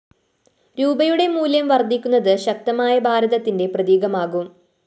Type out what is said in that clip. രൂപയുടെ മൂല്യം വര്‍ധിക്കുന്നത് ശക്തമായ ഭാരതത്തിന്റെ പ്രതീകമാകും